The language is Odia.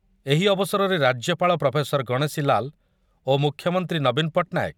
ଏହି ଅବସରରେ ରାଜ୍ୟପାଳ ପ୍ରଫେସର ଗଣେଶୀଲାଲ ଓ ମୁଖ୍ୟମନ୍ତ୍ରୀ ନବୀନ ପଟ୍ଟନାୟକ